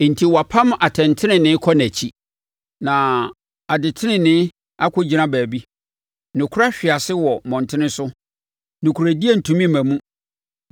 Enti wɔapam atɛntenenee kɔ nʼakyi, na adetenenee akɔgyina baabi; nokorɛ ahwe ase wɔ mmɔntene so. Nokorɛdie ntumi mma mu.